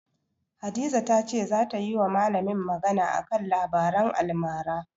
Hadiza ta ce zata yiwa malamin magana a kan labaran almara.